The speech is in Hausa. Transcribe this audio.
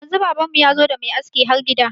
Yanzu baban mu yazo da mai aski har gida.